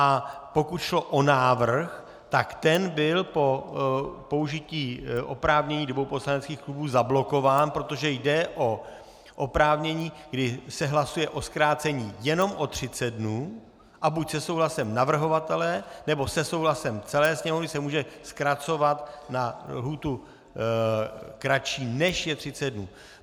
A pokud šlo o návrh, tak ten byl po použití oprávnění dvou poslaneckých klubů zablokován, protože jde o oprávnění, kdy se hlasuje o zkrácení jenom o 30 dnů, a buď se souhlasem navrhovatele, nebo se souhlasem celé Sněmovny se může zkracovat na lhůtu kratší, než je 30 dnů.